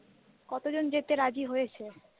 কতজন যেতে রাজি হয়েছে?